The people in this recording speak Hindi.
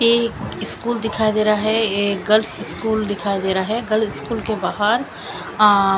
ये स्कूल दिखाई दे रहा है ये गर्ल्स स्कूल दिखाई दे रहा है गर्ल्स स्कूल के बाहर अ--